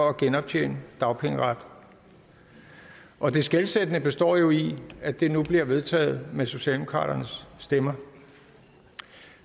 at genoptjene dagpengeret og det skelsættende består jo i at det nu bliver vedtaget med socialdemokraternes stemmer